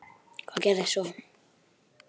Hvað gerðist svo?